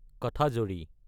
কাঠাজদী